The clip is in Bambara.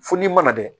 Fo n'i mana dɛ